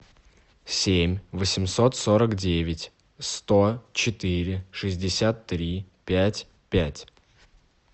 семь восемьсот сорок девять сто четыре шестьдесят три пять пять